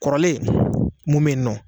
Kɔrɔlen mun bɛ yen nɔ.